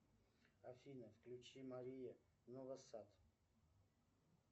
афина включи мария новосад